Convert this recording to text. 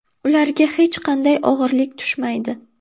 Ularga hech qanday og‘irlik tushmaydi.